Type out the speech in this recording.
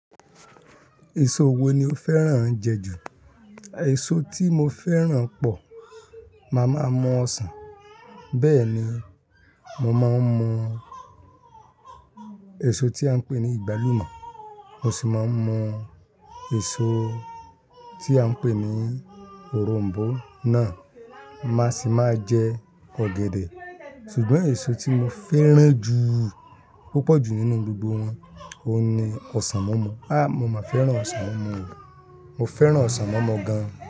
Èso wo ni o fẹ́ràn jẹ jù? Èso tí mo fẹ́ràn pọ̀, màá máa mu Ọsàn. Bẹ́ẹ̀ ni, mo máa ń mú èso tí à ń pè ní agbálúmọ̀, mo sì máa ń mú èso tí à ń pè ní òronbó náà, màá sì máa jẹ ọ̀gẹ̀dẹ̀. Sugbon èso tí mo fẹ́ràn jù púpọ̀ jù nínú gbogbo wọ́n, òun ni ọsàn mumu. Háá! Mo máa fẹ́ràn ọsàn mumu o. Mo fẹ́ràn ọsàn mumu gan.